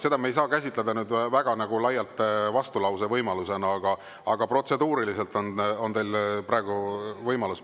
Seda me ei saa käsitleda väga laialt vastulausevõimalusena, aga protseduuriliselt on teil praegu see võimalus.